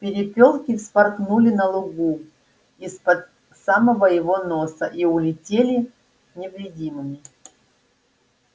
перепёлки вспорхнули на лугу из-под самого его носа и улетели невредимыми